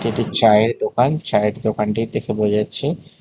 এটি চায়ের দোকান চায়ের দোকানটি দেখে বোঝা যাচ্ছে--